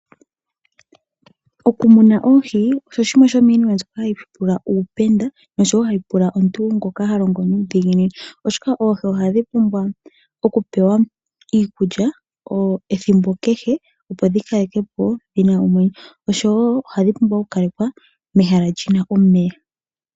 Okumuna oohi osho shimwe shomiinima mbyoka hai pula uupenda moshowo hai pula omuntu ngoka halongo nuudhiginini oshoka oohi ohadhi pumbwa okupewa iilulya ethimbo kehe opo dhi kalaleke po dhina omwenyo . Oshowo odha pumbwa oku kalekwa mehala lyina omeya .